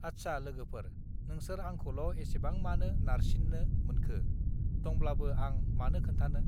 आच्सा लोगोफोर नोंसोर आंखौल एसेबां मानो नारसिन्नो मोनखो दंब्लाबो आं मानो खोन्थानो